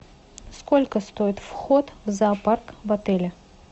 сколько стоит вход в зоопарк в отеле